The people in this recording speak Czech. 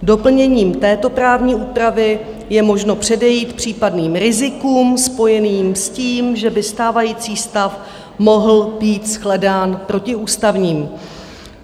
Doplněním této právní úpravy je možno předejít případným rizikům spojeným s tím, že by stávající stav mohl být shledán protiústavním.